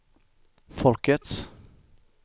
folkets